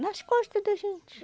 Nas costa da gente.